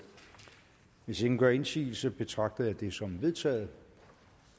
hvis ingen gør indsigelse betragter jeg det som vedtaget